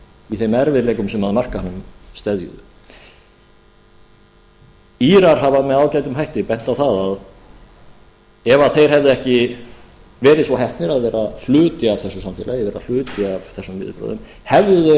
í þeim erfiðleikum sem að markaðnum steðjuðu írar hafa með ágætum hætti bent á það að ef þeir hefðu ekki verið svo heppnir að vera hluti af þessu samfélagi vera hluti af þessum viðbrögðum hefðu þeir